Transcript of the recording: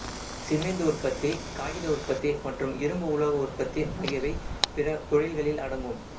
சீமேந்து உற்பத்தி காகித உற்பத்தி மற்றும் இரும்பு உலோக உற்பத்தி ஆகியவை பிற தொழில்களில் அடங்கும்